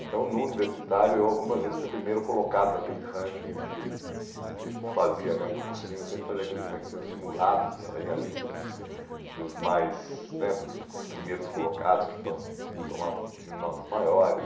Então, no universitário, eu algumas vezes fui primeiro colocado naqueles rankings de que eles fazia né no cursinho, sempre fazia aqueles rankings, tinham simulados e saía a lista dos dos mais né dos dos primeiros colocados, que tom que tomavam que tinham notas maiores.